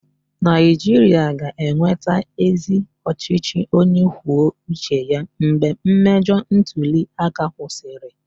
Naijiria ga-enweta ezi ọchịchị onye kwuo uche ya mgbe mmejọ ntuli aka kwụsịrị.